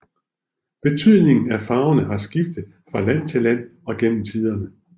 Betydningen af farverne har skiftet fra land til land og gennem tiden